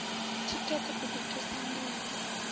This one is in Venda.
thikhedzo u ḓi thusa ṋdivho